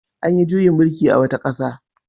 An yi juyin mullki a wata ƙasa.